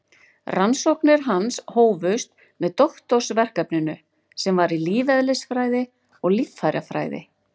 Rannsóknir hans hófust með doktorsverkefninu sem var í lífeðlisfræði og líffærafræði.